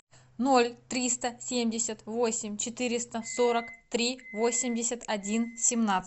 ноль триста семьдесят восемь четыреста сорок три восемьдесят один семнадцать